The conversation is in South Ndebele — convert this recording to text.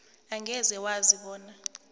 angeze wazi bona